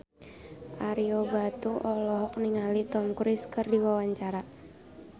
Ario Batu olohok ningali Tom Cruise keur diwawancara